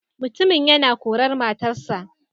Mutumin yana korar matarsa.